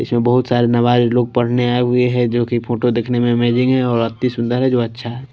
इसमें बहुत सारे नवाज लोग पढ़ने आए हुए हैं जो की फोटो देखने में अमेजिंग है और अति सुंदर है जो अच्छा है।